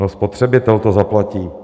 No, spotřebitel to zaplatí!